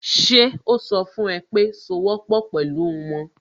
Ṣe ó sọ fún ẹ pé sowọ́pọ̀ pẹ̀lú wọn?